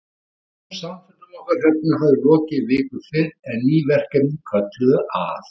Daglegum samfundum okkar Hrefnu hafði lokið viku fyrr, en ný verkefni kölluðu að.